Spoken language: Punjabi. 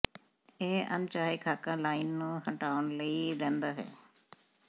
ਇਹ ਅਣਚਾਹੇ ਖ਼ਾਕਾ ਲਾਈਨ ਨੂੰ ਹਟਾਉਣ ਲਈ ਰਹਿੰਦਾ ਹੈ